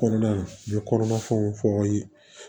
Kɔnɔna n ye kɔnɔna fɛnw fɔ aw ye